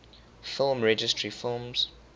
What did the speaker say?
film registry films